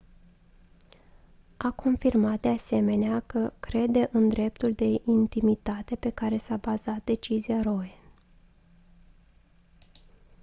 a confirmat de asemenea că crede în dreptul la intimitate pe care s-a bazat decizia roe